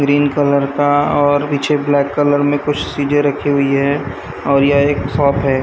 Green colour का और पीछे ब्लैक कलर में कुछ चीजें रखी हुई है और ये एक शॉप है।